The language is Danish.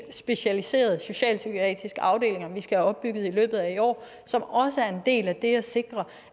specialiserede socialpsykiatriske afdelinger vi skal have opbygget i løbet af i år som også er en del af det at sikre